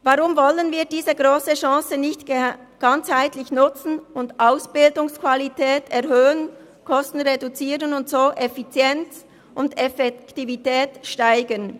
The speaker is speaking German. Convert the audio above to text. Weshalb wollen wir diese grosse Chance nicht ganzheitlich nutzen und Ausbildungsqualität erhöhen, Kosten reduzieren und so Effizienz und Effektivität steigern?